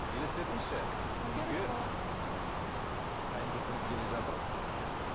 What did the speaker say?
елестетіңізші ммм қайын жұртыңыз келе жатыр иә